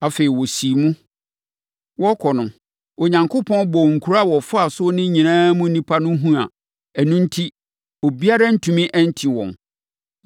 Afei, wɔsiim. Wɔrekɔ no, Onyankopɔn bɔɔ nkuro a wɔfaa so no nyinaa mu nnipa no hu a, ɛno enti obiara antumi anti wɔn.